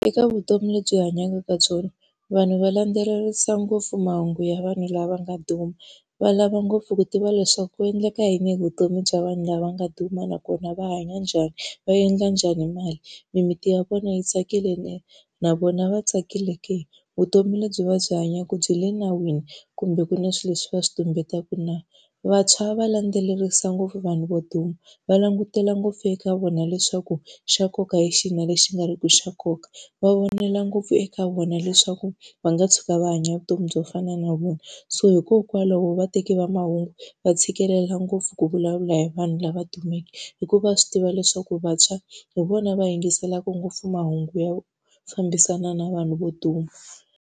Eka vutomi lebyi hi hanyaka ka byona, vanhu va landzelerisa ngopfu mahungu ya vanhu lava nga duma. Va lava ngopfu ku tiva leswaku ku endleka yini hi vutomi bya vanhu lava nga duma nakona va hanya njhani, va endla njhani mali, mimiti ya vona yi tsakile na, na vona va tsakile ke, vutomi lebyi va byi hanyaka byi le nawini kumbe ku na swilo leswi va swi tumbeta na. Vantshwa va landzelerisa ngopfu vanhu vo duma, va langutela ngopfu eka vona leswaku xa nkoka lexi na lexi nga ri ku xa nkoka, va vonela ngopfu eka vona leswaku va nga tshuka va hanya vutomi byo fana na vona. So hikokwalaho va teki va mahungu va tshikelela ngopfu ku vulavula hi vanhu lava dumeke, hikuva swi tiva leswaku vantshwa hi vona va rhangiselaka ngopfu mahungu yo fambisana na vanhu vo duma.